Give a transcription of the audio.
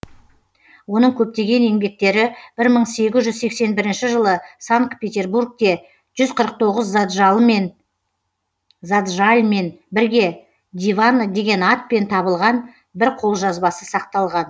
оның көптеген еңбектері бір мың сегіз жүз сексен бірінші жылы санкт петербургте заджальмен бірге диван деген атпен табылған бір қолжазбасы сақталған